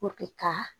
ka